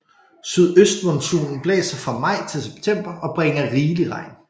Sydøstmonsunen blæser fra maj til september og bringer rigelig regn